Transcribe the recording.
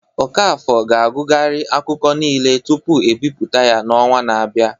Okafor ga-agụgharị akụkọ niile tupu ebipụta ya n'ọnwa na-abịa